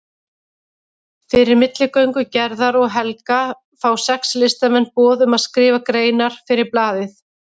Fyrir milligöngu Gerðar og Helga fá sex listamenn boð um að skrifa greinar fyrir blaðið.